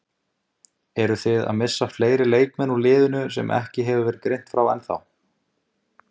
Eruð þið að missa fleiri leikmenn úr liðinu sem ekki hefur verið greint frá ennþá?